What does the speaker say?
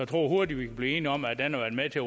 tror hurtigt vi kan blive enige om at den har været med til